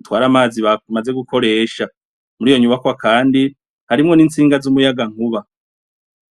utwara amazi bamaze gukoresha. Muri iyo nyubwakwa kandi harimwo n'intsinga z'umuyagankuba.